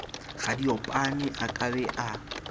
radiopane a ka be a